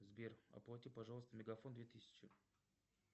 сбер оплати пожалуйста мегафон две тысячи